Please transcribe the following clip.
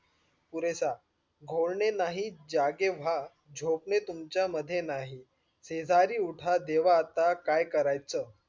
पुरेशा घोल्ने यांनी जागे व्हा झोपणे तुम्ध्ये नाही, सेजारी उठ देवा आता काय करायचं.